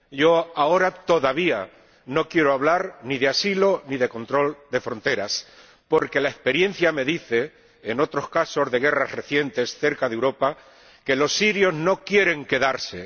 Yo ahora no quiero hablar todavía ni de asilo ni de control de fronteras, porque la experiencia me dice —por otros casos de guerras recientes cerca de Europa— que los sirios no quieren quedarse.